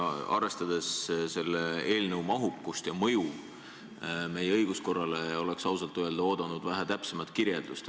Aga arvestades eelnõu mahukust ja mõju meie õiguskorrale, oleks ausalt öelda oodanud vähe täpsemat kirjeldust.